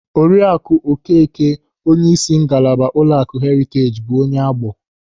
Oriaku Okeke, onyeisi ngalaba ụlọaku Heriteej, bụ onye Agbọ.